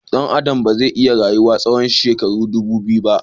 Dan Adam ba zai iya rayuwa tsawon shekaru ɗubu biyu ba